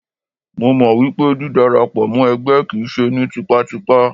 Mo mọ̀ wípé dí dara pọ̀ mọ́ ẹgbẹ́ kìí ṣe ní tipátipá.